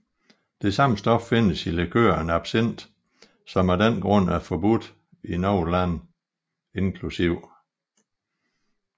Det samme stof findes i likøren absinth som af den grund er forbudt i nogle lande inkl